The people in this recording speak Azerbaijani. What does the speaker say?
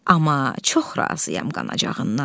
Amma çox razıyam qanacağından.